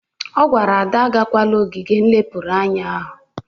Ọ gwara Ada agakwala ogige nlepụrụ anya!